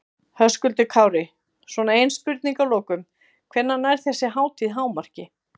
Höskuldur Kári: Svona ein spurning að lokum, hvenær nær þessi hátíð hámarki?